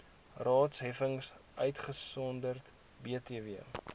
raadsheffings uitgesonderd btw